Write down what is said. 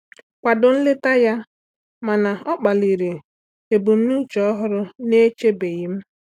Akwado nleta ya, mana ọ kpaliri ebumnuche ọhụrụ na-echebeghị m.